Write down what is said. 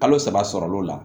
Kalo saba sɔrɔli la